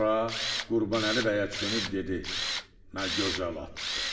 Sonra Qurbanəli bəyə dönüb dedi: Nə gözəl atdı!